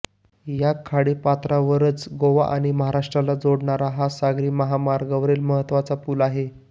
या खाडीपात्रावरच गोवा आणि महाराष्ट्राला जोडणारा आणि सागरी महामार्गावरील महत्त्वाचा पूल आहे